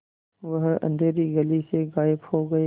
वह अँधेरी गली से गायब हो गए